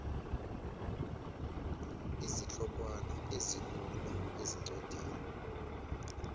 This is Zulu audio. izihlokwana ezilula ezincwadini